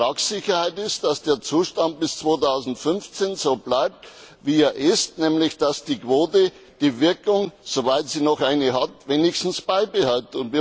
Und die Vertragssicherheit ist, dass der Zustand bis 2015 so bleibt, wie er ist, nämlich, dass die Quote ihre Wirkung soweit sie noch eine hat wenigstens beibehält.